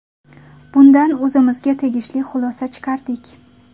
Bundan o‘zimizga tegishli xulosa chiqardik.